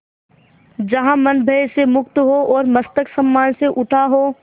जहाँ मन भय से मुक्त हो और मस्तक सम्मान से उठा हो